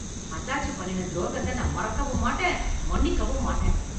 அத்தாச்சி பண்ணின தொரோகத்த நான் மறக்கவும் மாட்டேன், மன்னிக்கவும் மாட்டேன்.